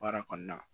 Baara kɔnɔna na